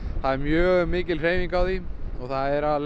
það er mjög mikil hreyfing á því og það er að